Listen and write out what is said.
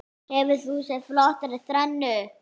Hefur þú séð flottari þrennu?